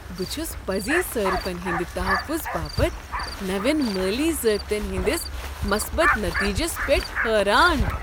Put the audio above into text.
بہٕ چھس پزی صارفن ہندِ تحفظ باپت نوین مٲلی ضٲبطن ہندِس مثبت نتیجس پیٹھ حیران ۔